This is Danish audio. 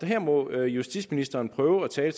her må justitsministeren prøve at tale